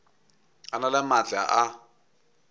a na le maatla a